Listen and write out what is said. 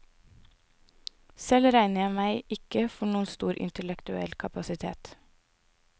Selv regner jeg meg ikke for noen stor intellektuell kapasitet.